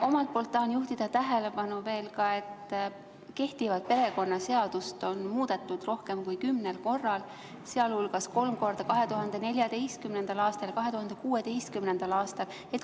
Omalt poolt tahan juhtida tähelepanu veel ka sellele, et kehtivat perekonnaseadust on muudetud rohkem kui kümnel korral, sealhulgas kolm korda 2014. aastal ja 2016. aastal.